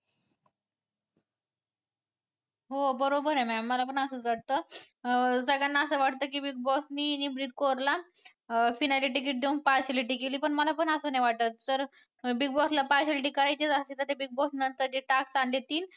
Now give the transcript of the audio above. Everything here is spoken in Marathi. हो बरोबर आहे mam मला पण असंच वाटतं अं सगळ्यांना असं वाटतं की Big Boss नी निमरीत कौरला अं finale ticket देऊन partiality केली पण मला पण असं नाही वाटत तर Big Boss ला partiality करायचीच असती तर ते Big Boss नंतर जे task करून देतील